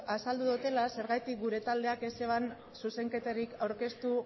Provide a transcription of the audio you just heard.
azaldu dudala zergatik gure taldeak ez zuen zuzenketarik aurkeztu